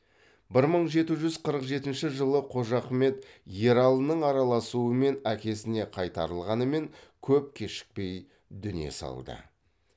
бір мың жеті жүз қырық жетінші жылы қожахмет ералының араласуымен әкесіне қайтарылғанымен көп кешікпей дүние салды